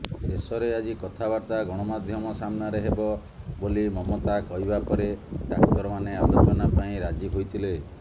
ଶେଷରେ ଆଜି କଥାବାର୍ତ୍ତା ଗଣମାଧ୍ୟମ ସାମ୍ନାରେ ହେବ ବୋଲି ମମତା କହିବାପରେ ଡାକ୍ତରମାନେ ଆଲୋଚନା ପାଇଁ ରାଜି ହୋଇଥିଲେ